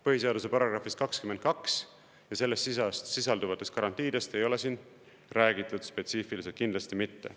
Põhiseaduse §‑st 22 ja selles sisalduvatest garantiidest ei ole siin räägitud, spetsiifiliselt kindlasti mitte.